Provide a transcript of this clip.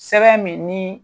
Sɛbɛn min ni